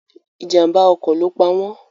Ìjàm̀bá ọkọ̀ ló pa wọn.